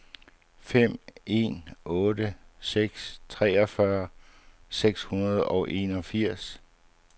fem en otte seks treogfyrre seks hundrede og enogfirs